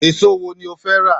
Èso wo ni o fẹ́ rà?